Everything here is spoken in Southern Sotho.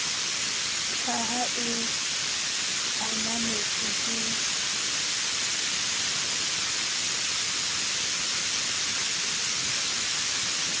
ka ha e ananetswe ke